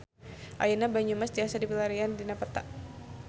Ayeuna Banyumas tiasa dipilarian dina peta